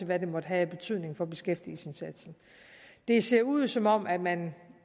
hvad den måtte have af betydning for beskæftigelsesindsatsen det ser ud som om man